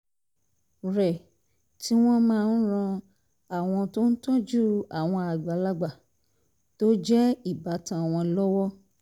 rẹ̀ tí wọ́n máa ń ran àwọn tó ń tọ́jú àwọn àgbàlagbà tó jẹ́ ìbátan wọn lọ́wọ́